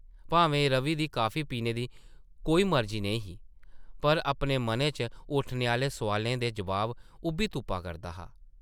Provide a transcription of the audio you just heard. भामें रवि दी कॉफी पीने दी कोई मर्जी नेईं ही ,पर अपने मनै च उट्ठने आह्ले सोआलें दे जवाब उʼब्बी तुप्पा करदा हा ।